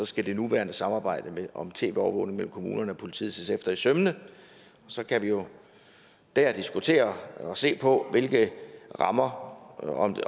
skal det nuværende samarbejde om tv overvågning med kommunerne og politiet ses efter i sømmene så kan vi jo der diskutere og se på hvilke rammer og om det